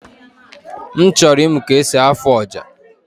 M chọrọ ịmụ ka esi afụ ọja